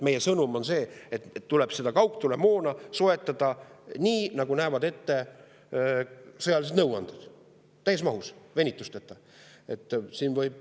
Meie sõnum on see, et kaugtulemoona tuleb soetada nii, nagu näevad ette sõjalised nõuanded, täies mahus, venitusteta.